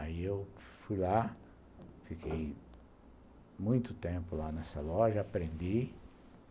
Aí eu fui lá, fiquei muito tempo lá nessa loja, aprendi.